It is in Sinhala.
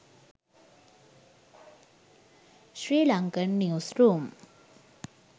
sri lankan news room